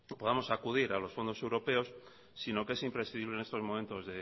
podamos acudir a los fondos europeos sino que es imprescindible en estos momentos